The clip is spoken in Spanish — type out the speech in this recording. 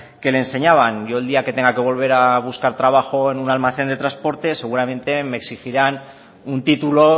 que le enseñaban yo el día que tenga que volver a buscar trabajo en un almacén de transporte seguramente me exigirán un título